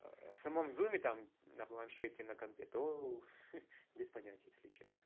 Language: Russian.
в самом зуме там на планшете на компьютере то ха-ха без понятия если честно